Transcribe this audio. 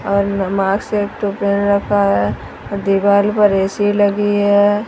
और पेन रखा है दीवाल पर ए_सी लगी है।